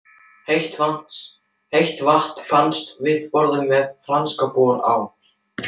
Heitt vatn fannst við borun með Franks-bor á